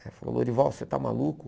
Ele falou, Lourival, você está maluco?